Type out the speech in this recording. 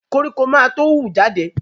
Koríko ma tó hù jade